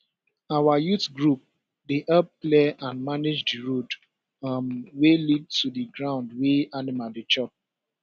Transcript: our youth group dey help clear and manage the road um wey lead to the ground wey animal dey chop